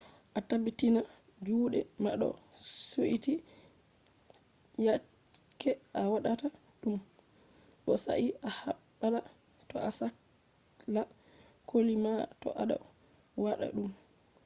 a tabbitina juuɗe ma ɗo suiti yake a waɗata ɗum bo sai a habda to a sakla koli ma to a ɗo waɗa ɗum